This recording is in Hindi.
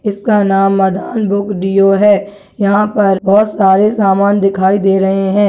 इसका नाम मदन बुक डीओ है यहाँ पर बहुत सारे समान दिखाई दे रहे हैं।